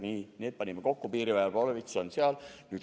Piirivalve- ja Politseiorkestri panime kokku, nüüd lisame Kaitseväe oma.